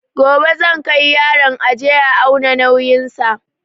Gobe zan kai yaron aje a auna nauyin sa